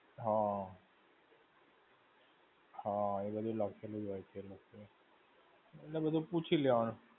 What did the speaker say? હા. હા એ બધું લખેલું જ હોય છે એ લોકો એ. એટલે બધું પૂછી લેવાનું.